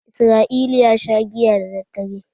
Israel ya sha giya daddadare.